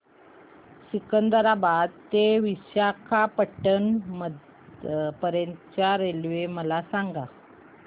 सिकंदराबाद ते विशाखापट्टणम पर्यंत च्या रेल्वे मला सांगा